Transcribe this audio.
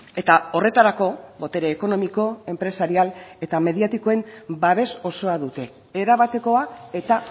eta horretarako botere ekonomiko enpresarial eta mediatikoen babes osoa dute erabatekoa eta